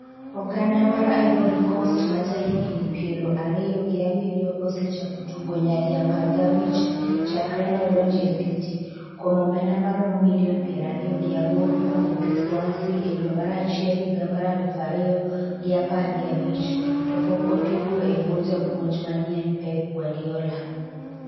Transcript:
oganda mar Ivory Coast majahigni piero ariyo gi abiriyo osechako tugo nyadi apar gi abich chakre ne odonjo e City kuom omenda maromo milion piero ariyo gi aboro kowuok e Swansea e dwe mar achiel higa mar aluf ariyo gi apar gi abich, to pok otugo e bwo japuonj manyien Pep Guardiola.